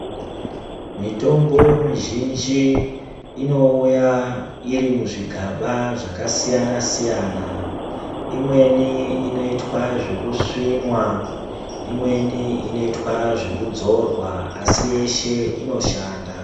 Mitombo mizhinji inouya irimuzvigaba zvakasiyana siyana imweni inoitwa zvekusvinwa imweni inoitwa zvekudzorwa asi yeshe inoshanda.